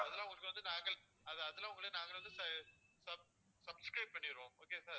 அதெல்லாம் உங்களுக்கு வந்து நாங்கள் அதெல்லாம் உங்களுக்கு நாங்க வந்து sub~ subscribe பண்ணிருவோம் okay வா sir